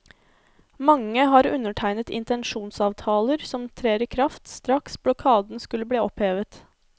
Mange har undertegnet intensjonsavtaler som trer i kraft straks blokaden skulle bli opphevet.